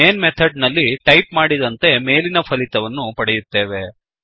main method ನಲ್ಲಿ type ಮಾಡಿದಂತೆ ಮೇಲಿನ ಫಲಿತವನ್ನು ಪಡೆಯುತ್ತೇವೆ